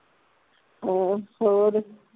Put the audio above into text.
ਹਮ ਹੋਰ